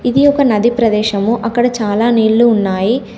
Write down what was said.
ఇది ఒక నది ప్రదేశము అక్కడ చాలా నీళ్లు ఉన్నాయి.